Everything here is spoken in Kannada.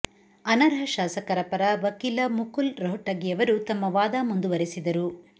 ಅನರ್ಹ ಶಾಸಕರ ಪರ ವಕೀಲ ಮುಕುಲ್ ರೊಹ್ಟಗಿಯವರು ತಮ್ಮ ವಾದ ಮುಂದುವರೆಸಿದರು